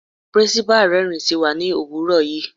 Principal rẹ́rin sí wa ní òwúrọ̀ yìí.